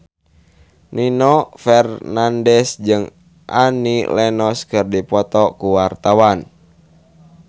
Nino Fernandez jeung Annie Lenox keur dipoto ku wartawan